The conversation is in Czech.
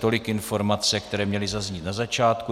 Tolik informace, které měly zaznít na začátku.